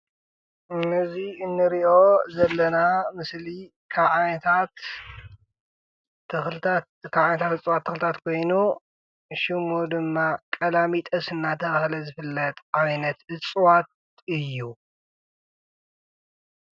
እዚ እንሪኦ ዘለና ምስሊ ካብ ዓይነታት ተክሊታት እፅዋት ተክሊታት ኮይኑ ሽሙ ድማ ቃላሚጦስ እንዳተባሃለ ዝፍለጥ ዓይነት ተክሊ እዩ።